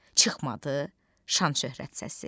çıxmadı şan-şöhrət səsi.